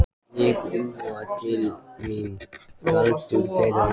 Ég úa til mín galdur þeirra.